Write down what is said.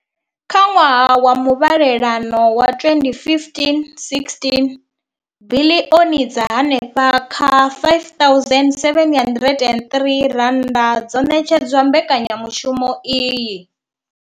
Kha ṅwaha wa muvhalelano wa 2015,16, biḽioni dza henefha kha R5 703 dzo ṋetshedzwa mbekanya mushumo iyi.